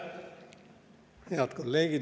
Head kolleegid!